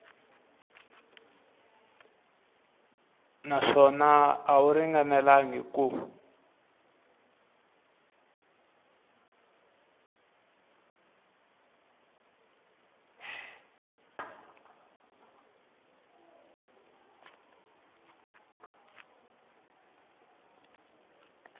naswona a wu ringanelangi ku